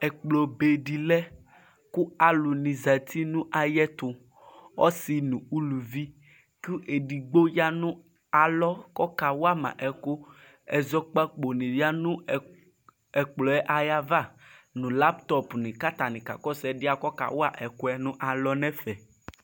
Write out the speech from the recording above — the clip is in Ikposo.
Ɛkplɔbe dɩ lɛ kʋ alʋnɩ zati nʋ ayɛtʋ Ɔsɩ nʋ uluvi nʋ edigbo ya nʋ alɔ kakawa ma ɛkʋ Ɛzɔkpako nɩ yǝ nʋ ɛkplɔɛ ava ,nʋ lamptɔp nɩ k'atanɩ kakɔsʋ ɛdɩɛ kɔkawa ɛkʋɛ nʋ alɔ n'ɛfɛ